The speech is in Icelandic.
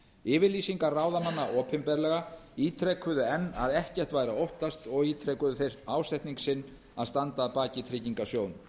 yfirlýsingar ráðamanna opinberlega ítrekuðu enn að ekkert væri að óttast og ítrekuðu ásetning sinn að standa að baki tryggingarsjóðnum